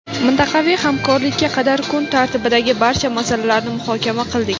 mintaqaviy hamkorlikka qadar kun tartibidagi barcha masalalarni muhokama qildik.